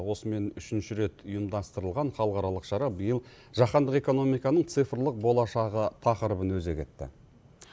осымен үшінші рет ұйымдастырылған халықаралық шара биыл жахандық экономиканың цифрлық болашағы тақырыбын өзек етті